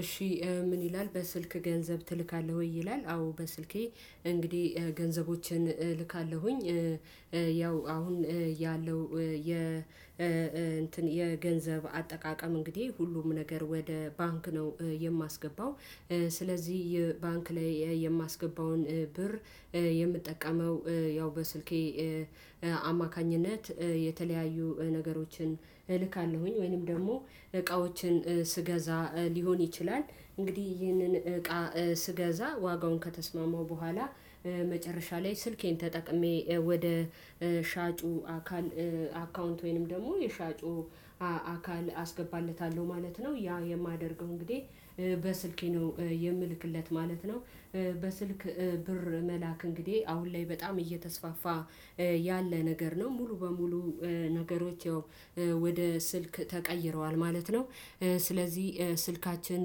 እሺ ምን ይላል በስልክ ገንዘብ ትልካለህ ወይ? ይላል አዎ በስልኬ እንግዲህ ገንዘቦችን እልካለሁኝ። ያው አሁን ያለው የ እንትን የገንዘብ አጠቃቀም እንግዲህ ሁሉም ነገር ወደ ባንክ ነው የማስገባው። ስለዚህ ባንክ ላይ የማስገባውን ብር የምጠቀመው ያው በስልኬ አማካኝነት የተለያዩ ነገሮችን እልካለሁኝ። ወይንም ደግሞ እቃዎችን ስገዛ ሊሆን ይችላል እንግዲህ ይህንን እቃ ስገዛ ዋጋውን ከተስማመው በኋላ መጨረሻ ላይ ስልኬን ተጠቅሜ ወደ ሻጩ አካል አካውንት ወይንም ደግሞ የሻጩ አካል አስገባለታለሁ ማለት ነው። ያ የማደርገው እንግዲህ በስልኬ ነው የምልክለት ማለት ነው። በስልክ ብር መላክ እንግዲህ አሁን ላይ በጣም እየተስፋፋ ያለ ነገር ነው ሙሉ በሙሉ ነገሮች ወደ ስልክ ተቀይረዋል ማለት ነው። ስለዚህ ስልካችን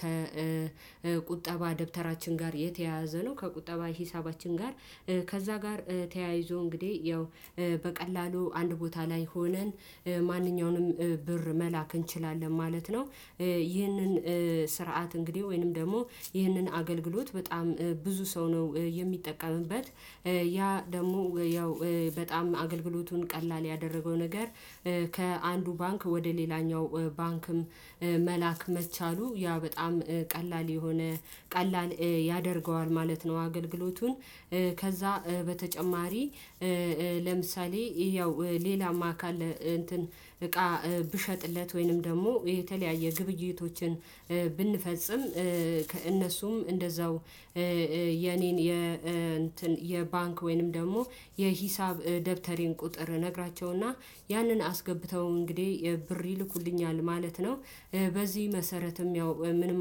ከቁጠባ ደብተራችን ጋር የተያያዘ ነው ከቁጠባ ሂሳባችን ጋር ከዛ ጋር ተያይዞ እንግዲህ ያው በቀላሉ አንድ ቦታ ላይ ሆነን ማንኛውንም ብር መላክ እንችላለን ማለት ነው። ይህንን ስርዓት እንግዲህ ወይንም ደግሞ ይህንን አገልግሎት በጣም ብዙ ሰው ነው የሚጠቀምበት። ያ ደግሞ ያው በጣም አገልግሎቱን ቀላል ያደረገው ነገር ከአንዱ ባንክ ወደ ሌላኛው ባንክም መላክ መቻሉ ያ በጣም ቀላል የሆነ ቀላል ያደርገዋል ማለት ነው። አገልግሎቱን ከዛ በተጨማሪ ለምሳሌ ያው ሌላማ አካል እንትን እቃ ብሸጥለት ወይንም ደግሞ የተለያየ ግብይቶችን ብንፈጽም ከእነሱም እንደዛው የኔን የ እንትን የባንክ ወይንም ደግሞ የሂሳብ ደብተሬን ቁጥር ነግራቸውና ያንን አስገብተው እንግዲህ የብር ይልኩልኛል ማለት ነው። በዚህ መሰረትም ያው ምንም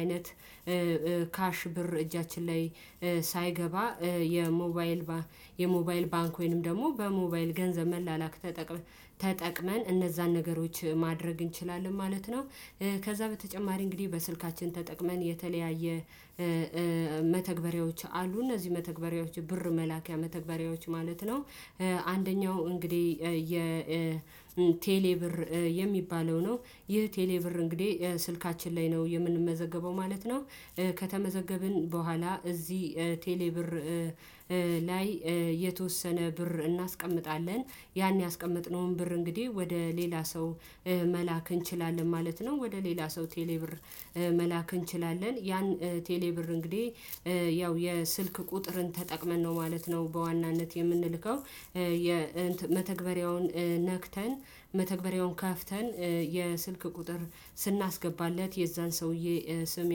አይነት ካሽ ብር እጃችን ላይ ሳይገባ የሞባይል የሞባይል ባንክ ወይንም ደግሞ በሞባይል ገንዘብ መላላክ ተጠቅመን እነዛን ነገሮች ማድረግ እንችላለን ማለት ነው። ከዛ በተጨማሪ እንግዲህ በስልካችን ተጠቅመን የተለያየ መተግበሪያዎች አሉ እነዚህ መተግበሪያዎች ብር መላኪያ መተግበሪያዎች ማለት ነው። አንደኛው እንግዲህ የ ቴሌ ብር የሚባለው ነው ይህ ቴሌ ብር እንግዲህ ስልካችን ላይ ነው የምንመዘገበው ማለት ነው። ከተመዘገብን በኋላ እዚህ ቴሌ ብር ላይ የተወሰነ ብር እናስቀምጣለን ያን ያስቀመጥነውን ብር እንግዲህ ወደ ሌላ ሰው መላክ እንችላለን ማለት ነው። ወደ ሌላ ሰው ቴሌ ብር መላክ እንችላለን ያን ቴሌ ብር እንግዲህ ያው የስልክ ቁጥርን ተጠቅመን ነው ማለት ነው በዋናነት የምንልከው። የመተግበሪያውን ነክተን መተግበሪያውን ከፍተን የስልክ ቁጥር ስናስገባለት የዛን ሰውዬ ስም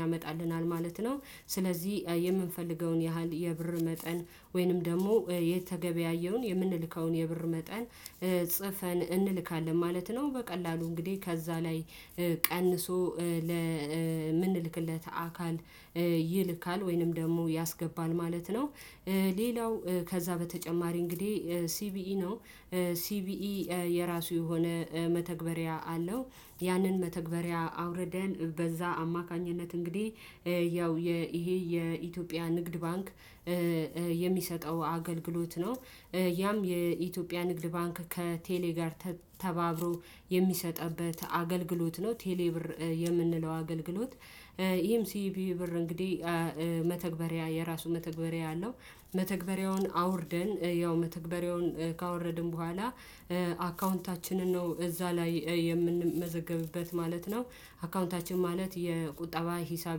ያመጣልናል ማለት ነው። ስለዚህ የምንፈልገውን ያህል የብር መጠን ወይንም ደግሞ የተገበያየውን የምንልከውን የብር መጠን ጽፈን እንልካለን ማለት ነው። በቀላሉ እንግዲህ ከዛ ላይ ቀንሶ ለምንልክለት አካል ይልካል ወይንም ደግሞ ያስገባል ማለት ነው። ሌላው ከዛ በተጨማሪ እንግዲህ ሲቢኢ ነው ሲቢኢ የራሱ የሆነ መተግበሪያ አለው። ያንን መተግበሪያ አውርደን በዛ አማካኝነት እንግዲህ ያው ይሄ የኢትዮጵያ ንግድ ባንክ የሚሰጠው አገልግሎት ነው። ያም የኢትዮጵያ ንግድ ባንክ ከቴሌ ጋር ተባብሮ የሚሰጥበት አገልግሎት ነው። ቴሌ ብር የምንለው አገልግሎት። ይህም ሲቪ ብር እንግዲህ መተግበሪያ የራሱ መተግበሪያ አለው መተግበሪያውን አውርደን ያው መተግበሪያውን ካወረድን በኋላ አካውንታችንን ነው እዛ ላይ የምንመዘገብበት ማለት ነው። አካውንታችን ማለት የቁጠባ ሂሳብ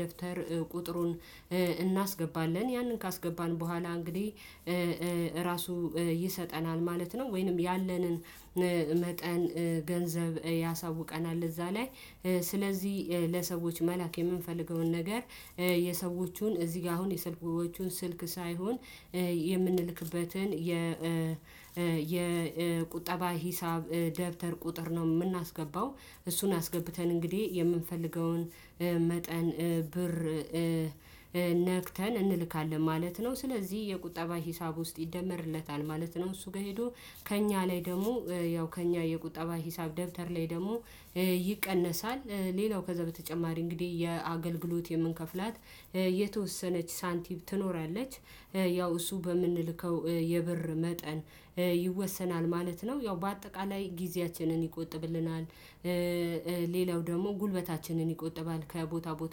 ደብተር ቁጥሩን እናስገባለን ያንን ካስገባን በኋላ እንግዲህ ራሱ ይሰጠናል ማለት ነው። ወይንም ያለንን መጠን ገንዘብ ያሳውቀናል እዛ ላይ። ስለዚህ ለሰዎች መላክ የምንፈልገውን ነገር የሰዎቹን እዚህ ጋር አሁን የሰልኮቹን ስልክ ሳይሆን የምንልክበትን የ የቁጠባ ሂሳብ ደብተር ቁጥር ነው የምናስገባው እሱን አስገብተን እንግዲህ የምንፈልገውን መጠን ብር ነክተን እንልካለን ማለት ነው። ስለዚህ የቁጠባ ሂሳብ ውስጥ ይደመርለታል ማለት ነው። እሱ ጋር ሄዶ ከእኛ ላይ ደግሞ ያው ከእኛ የቁጠባ ሂሳብ ደብተር ላይ ደግሞ ይቀነሳል። ሌላው ከዛ በተጨማሪ እንግዲህ የአገልግሎት የምንከፍላት የተወሰነች ሳንቲም ትኖራለች ያው እሱ በምንልከው የብር መጠን ይወሰናል ማለት ነው። ያው በአጠቃላይ ጊዜያችንን ይቆጥብልናል። ሌላው ደግሞ ጉልበታችንን ይቆጥባል ከቦታ ቦታ